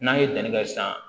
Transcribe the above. N'an ye danni kɛ san